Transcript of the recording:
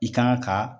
I kan ka